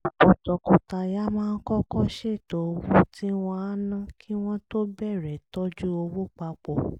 ọ̀pọ̀ tọkọtaya máa kọ́kọ́ ṣètò owó tí wọ́n á ná kí wọ́n tó bẹ̀rẹ̀ tọ́jú owó pa pọ̀